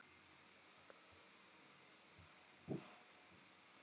Hann var hræðilegur og er það eigendum félagsins að kenna?